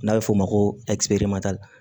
N'a bɛ f'o ma ko